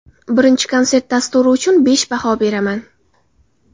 Birinchi konsert dasturi uchun besh baho beraman.